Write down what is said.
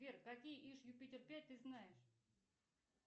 сбер какие иж юпитер пять ты знаешь